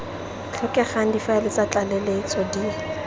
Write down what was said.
tlhokegang difaele tsa tlaleletso di